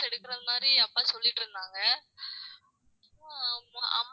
எடுக்கிற மாதிரி அப்பா சொல்லிட்டு இருந்தாங்க